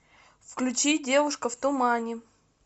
включи девушка в тумане